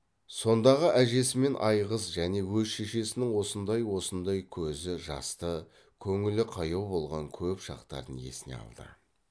сондағы әжесі мен айғыз және өз шешесінің осындай осындай көзі жасты көңілі қаяу болған көп шақтарын есіне алды